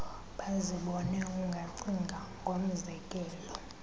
bazibone ungacinga ngomzekelo